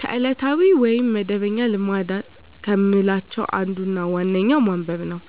ከዕለታዊ ወይም መደበኛ ልማድ ከምላቸው አንዱና ዋነኛው ማንበብ ነው።